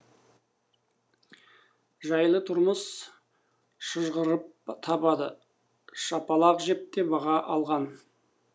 жайлы тұрмыс шыжғырып табада шапалақ жеп те баға алған